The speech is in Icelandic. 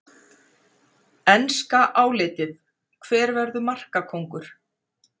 Enska álitið: Hver verður markakóngur?